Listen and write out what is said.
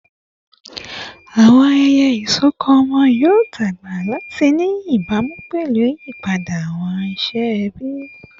Awọn ayẹyẹ isọkọ ọmọ yoo dagba lati ni ibamu pẹlu iyipada awọn iṣẹ ẹbi